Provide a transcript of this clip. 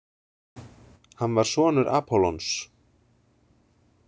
Hann var sonur Apollons.